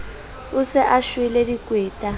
o se a shwele dikweta